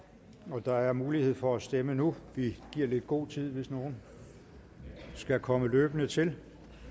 og der er mulighed for at stemme nu vi giver lidt god tid hvis nogle skulle komme løbende til